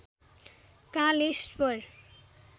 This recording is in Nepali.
कालेश्वर